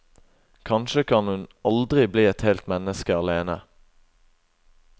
Kanskje kan hun aldri bli et helt menneske alene.